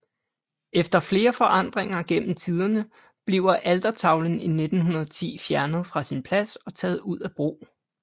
Efter flere forandringer gennem tiderne bliver altertavlen i 1910 fjernet fra sin plads og taget ud af brug